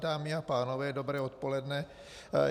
Dámy a pánové, dobré odpoledne.